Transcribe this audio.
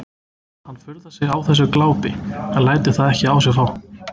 Hann furðar sig á þessu glápi en lætur það ekki á sig fá.